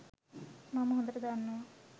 මම හොඳට දන්නවා